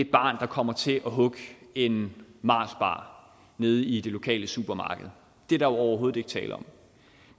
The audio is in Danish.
barn der kommer til at hugge en marsbar nede i det lokale supermarked det er der overhovedet ikke tale om